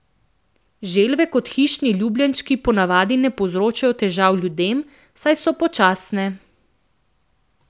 Želve kot hišni ljubljenčki po navadi ne povzročajo težav ljudem, saj so počasne.